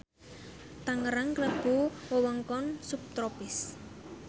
Tangerang klebu wewengkon subtropis